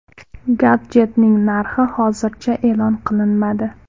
Gadjetning narxi hozircha e’lon qilinmadi.